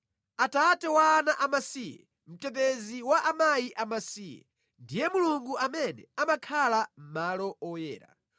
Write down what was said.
Atate wa ana amasiye, mtetezi wa akazi amasiye, ndiye Mulungu amene amakhala mʼmalo oyera.